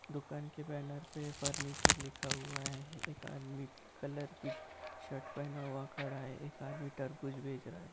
दुकान के बैनर पर फर्नीचर लिखा हुआ है एक आदमी पिंक कलर की शर्ट पहना हुआ खड़ा है एक आदमी तरबूज बेच रहा है।